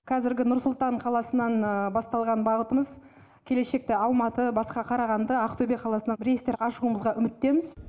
қазіргі нұр сұлтан қаласынан басталған бағытымыз келешекте алматы басқа қарағанды ақтөбе қаласынан рейстер ашуымызға үміттеміз